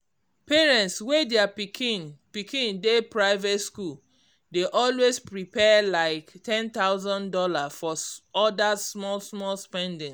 parents wey their pikin pikin dey private school dey always prepare like one thousand dollars for other small-small spendings.